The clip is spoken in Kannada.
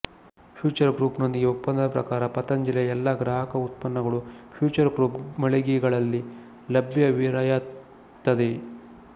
ಫ್ಯೂಚರ್ ಗ್ರೂಪ್ ನೊಂದಿಗೆ ಒಪ್ಪಂದದ ಪ್ರಕಾರ ಪತಂಜಲಿಯ ಎಲ್ಲಾ ಗ್ರಾಹಕ ಉತ್ಪನ್ನಗಳು ಫ್ಯೂಚರ್ ಗ್ರೂಪ್ ಮಳಿಗೆಗಳಲ್ಲಿ ಲಭ್ಯವಿರಯತ್ತದೆ